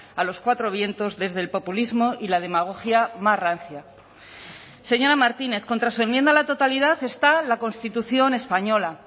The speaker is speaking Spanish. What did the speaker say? a los cuatro vientos desde el populismo y la demagogia más rancia señora martínez contra su enmienda a la totalidad está la constitución española